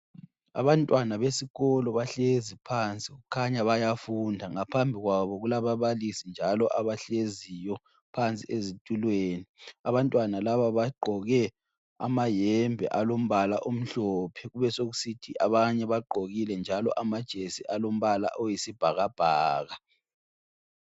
Abantwana besikolo bahlezi phansi kukhanya bayafunda ngaphambi kwabo kulababalisi njalo abahleziyo phansi ezitulweni. Abantwana laba bagqoke amayembe alombala omhlophe kube sokusithi abanye bagqokile njalo amajesi alombala oyisibhakabhaka.